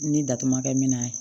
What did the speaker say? Ni datuguman kɛ min na ye